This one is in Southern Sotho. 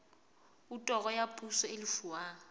otoro ya poso e lefuwang